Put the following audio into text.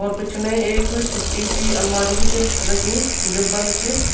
और पिछने एक छुट्टी सी अलमारी भी च रखीं जू बंद च।